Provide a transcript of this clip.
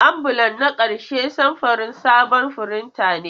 Ambulan na ƙarshe samfurin sabon firinta ne.